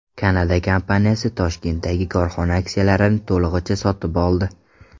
Kanada kompaniyasi Toshkentdagi korxona aksiyalarini to‘lig‘icha sotib oldi.